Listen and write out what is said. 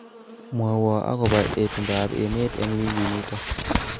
mwowon akobo itondo ab emet eng wekinito